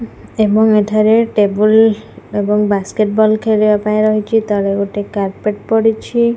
ଏବଂ ଏଠାରେ ଟେବୁଲ୍ ଏବଂ ବାସ୍କେଟ୍ ବଲ୍ ଖେଳିବା ପାଇଁ ରହିଚି ତଳେ ଗୋଟେ କାରର୍ପେଟ୍ ପଡ଼ିଛି।